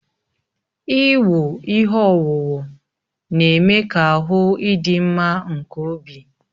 Iwu ihe owuwu na-eme ka ahụ idị mma nke obi